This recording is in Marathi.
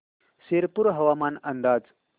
शिरपूर हवामान अंदाज